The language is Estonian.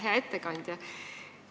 Hea ettekandja!